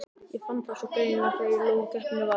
Ég fann það svo greinilega þegar lokakeppnin var.